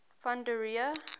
van der rohe